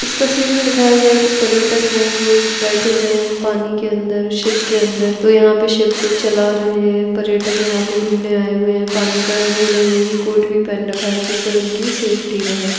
इस तस्वीर में दिखाया गया है कि पर्यटक है वो बैठे हुए हैं पानी के अंदर शिप के अंदर वो यहाँ पे शिप को चला रहे हैं पर्यटक यहाँ पे घूमने आए हुए हैं पानी का उन्होंने वो भी कोट भी पहन रखा है जिससे उनकी सेफ्टी रहे।